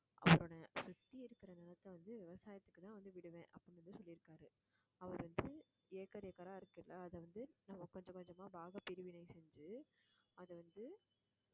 அவரோட சுத்தி இருக்கற நிலத்தை வந்து விவசாயத்துக்குதான் வந்து விடுவேன் அப்படின்னு வந்து சொல்லியிருக்காரு அவர் வந்து acre acre ஆ இருக்குல்ல அதை வந்து நம்ம கொஞ்சம் கொஞ்சமா பாகப் பிரிவினை செஞ்சு அதை வந்து